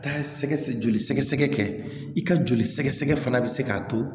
Taa sɛgɛsɛgɛ joli sɛgɛsɛgɛ kɛ i ka joli sɛgɛsɛgɛ fana bɛ se k'a to